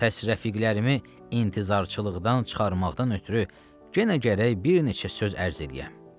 Pəs rəfiqlərimi intizarçılıqdan çıxarmaqdan ötrü yenə gərək bir neçə söz ərz eləyəm.